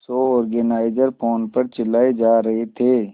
show organiser phone पर चिल्लाए जा रहे थे